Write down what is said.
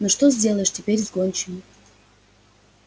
но что сделаешь теперь с гончими